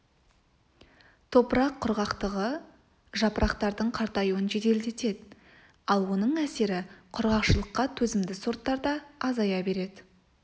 топырақ құрғақтығы жапырақтардың қартаюын жеделдетеді ал оның әсері құрғақшылыққа төзімді сорттарда азая береді